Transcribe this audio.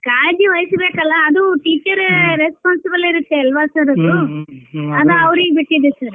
ಕಾಳಜಿ ವೈಸ್ಬೇಕಲ್ಲ ಅದು teacher responsible ಇರುತ್ತೆ ಅಲ್ವಾ sir ಅದು ಅದ ಅವರೀಗ ಬಿಟ್ಟಿದ್ sir .